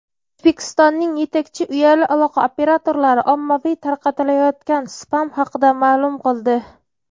O‘zbekistonning yetakchi uyali aloqa operatorlari ommaviy tarqatilayotgan spam haqida ma’lum qildi.